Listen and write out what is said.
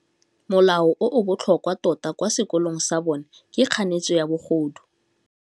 Molao o o botlhokwa tota kwa sekolong sa bone ke kganetsô ya bogodu.